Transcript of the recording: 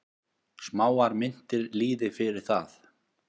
Smáar myntir lýði fyrir það.